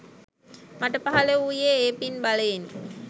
මට පහළ වූයේ ඒ පින් බලයෙනි.